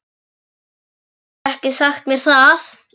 Þú hefur ekkert sagt mér það!